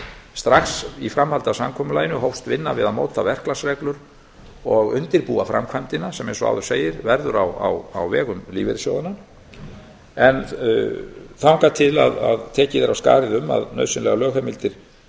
strax í framhaldi af samkomulaginu hófst vinna við að móta verklagsreglur og undirbúa framkvæmdina sem verður eins og áður segir á vegum lífeyrissjóðanna en þangað til tekið er af skarið um að nauðsynlegar lögheimildir